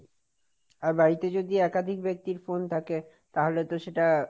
আর বাড়িতে যদি একাধিক ব্যক্তির Phone থাকে তাহলে তো সেটা,